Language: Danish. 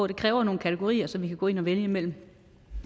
det kræver nogle kategorier som vi kan gå ind og vælge imellem